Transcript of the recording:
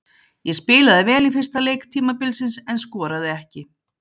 Ég spilaði vel í fyrsta leik tímabilsins en skoraði ekki.